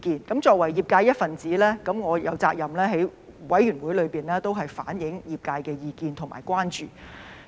我作為業界的一分子，我有責任在法案委員會內反映業界的意見和關注。